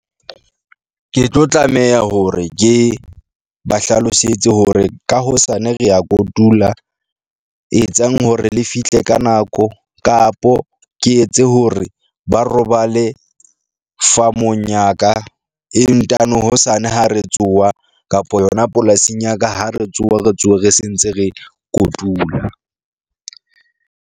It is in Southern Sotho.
Ke tlo tlameha hore ke ba hlalosetse hore ka hosane re ya kotula, etsang hore le fihle ka nako kapo ke etse hore ba robale farm-ong ya ka, e ntano hosane ha re tsoha kapa yona polasing ya ka, ha re tsoha re tsohe re se ntse re kotula.